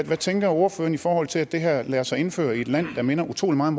hvad tænker ordføreren i forhold til at det her lader sig indføre i et land der minder utrolig meget